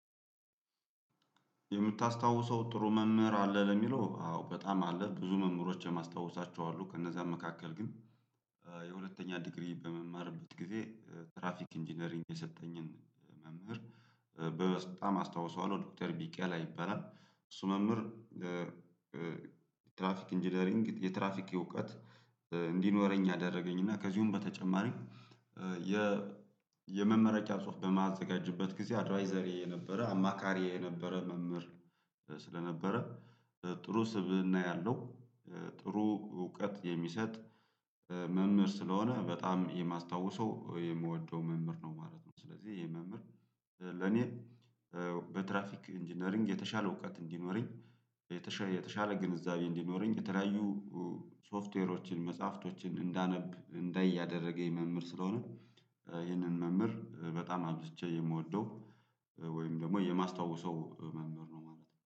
የምታስታውሰው ጥሩ መምህር አለ ለሚለው አዎ በጣም አለ ብዙ መምህሮች የማስታውሳቸው አሉ ከእነዛም መካከል ግን የሁለተኛ ዲግሪ በምማርበት ጊዜ ትራፊክ ኢንጂነሪንግ የሰጠኝን መምህር በጣም አስታውሰዋለሁ። ዶክተር ቢቂላ ይበራል እሱ መምህር ትራፊክ ኢንጂነሪንግ የትራፊክ እውቀት እንዲኖረኝ ያደረገኝ እና ከዚሁም በተጨማሪ የመመረቂያ ጽሁፍ በማዘጋጀትበት ጊዜ አድቫይዘሬ የነበረ አማካሪዬ የነበረ መምህር ስለነበረ ጥሩ ስብእና ያለው ጥሩ እውቀት የሚሰጥ መምህር ስለሆነ በጣም የማስታውሰው የምወደው መምህር ነው ማለት ነው። ስለዚህ ይሄ መምህር ለኔ በትራፊክ ኢንጂነሪንግ የተሻለ እውቀት እንዲኖረኝ የተሻለ ግንዛቤ እንዲኖረኝ የተለያዩ ሶፍትዌሮችን መጽሐፍቶችን እንዳነብ እንዳይ ያደረገ የመምህር ስለሆነ ይህንን መምህር በጣም አብዝቼ የምወደው ወይም ደግሞ የማስታውሰው መምህር ነው ማለት ነው